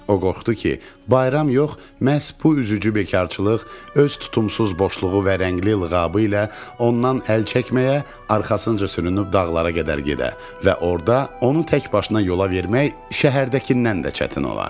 O qorxdu ki, bayram yox, məhz bu üzücü bekarçılıq öz tutumsuz boşluğu və rəngli lığabı ilə ondan əl çəkməyə, arxasınca sürünüb dağlara qədər gedə və orada onu təkbaşına yola vermək şəhərdəkindən də çətin ola.